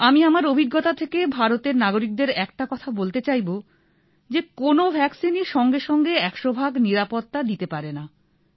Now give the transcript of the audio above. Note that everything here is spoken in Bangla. আমি আমার অভিজ্ঞতা থেকে ভারতের নাগরিকদের একটা কথা বলতে চাইব যে কোন ভাক্সিন ই সঙ্গে সঙ্গে ১০০ ভাগ নিরাপত্তা দিতে পারেনা